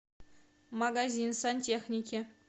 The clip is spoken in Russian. магазин сантехники